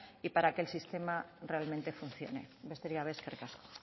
y para que el sistema realmente funcione besterik gabe eskerrik asko